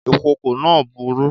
Ìkòkò náà burú